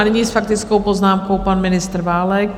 A nyní s faktickou poznámkou pan ministr Válek.